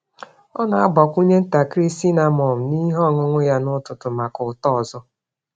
Ọ na-agbakwụnye ntakịrị cinnamon n’ihe ọṅụṅụ ya n’ụtụtụ maka ụtọ ọzọ.